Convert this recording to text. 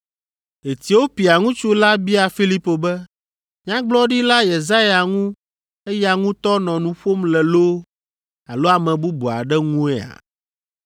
Etiopia ŋutsu la bia Filipo be, “Nyagblɔɖila Yesaya ŋu eya ŋutɔ nɔ nu ƒom le loo alo ame bubu aɖe ŋuea?”